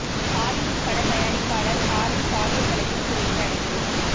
Hollywood பட தயாரிப்பாளர் Harvey பாலியல் வழக்கில் சிறையில் அடைப்பு